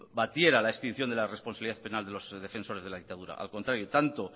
debatiera la extinción de la responsabilidad penal de los defensores de la dictadura al contrario tanto